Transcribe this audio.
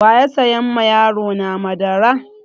Wa ya saya ma yarona madara?